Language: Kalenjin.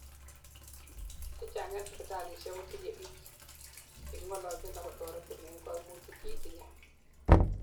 chechang en sipitalisiek kotinyei biik chekingololjin akotoretin en koimutik cheitinyei